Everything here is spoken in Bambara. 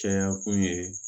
Caya kun ye